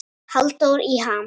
Halldór í ham